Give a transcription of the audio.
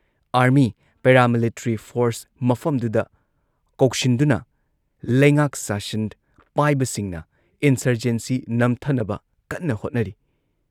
army paramilitary force ꯃꯐꯝꯗꯨꯗ ꯀꯧꯁꯤꯟꯗꯨꯅ ꯂꯩꯉꯥꯛ ꯁꯥꯁꯟ ꯄꯥꯏꯕꯁꯤꯡꯅ ꯏꯟꯁꯔꯖꯦꯟꯁꯤ ꯅꯝꯊꯅꯕ ꯀꯟꯅ ꯍꯣꯠꯅꯔꯤ